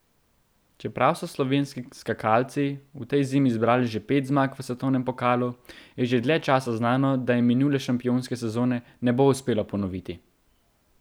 Čeprav so slovenski skakalci v tej zimi zbrali že pet zmag v svetovnem pokalu, je že dlje časa znano, da jim minule šampionske sezone ne bo uspelo ponoviti.